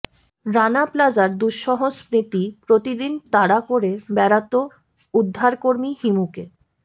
রানা প্লাজার দুঃসহ স্মৃতি প্রতিদিন তাড়া করে বেড়াতো উদ্ধারকর্মী হিমুকে